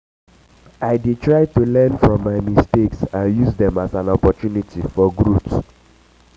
i dey try to learn from my um mistakes and use dem as um an opportunity for um growth.